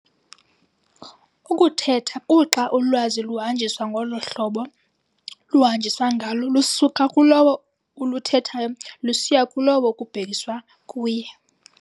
Ukuthetha kuxa ulwazi luhanjiswa ngolo hlobo luhanjiswa ngalo lusuka kulowo uluthethayo lusiya kulowo kubhekiswa kuye.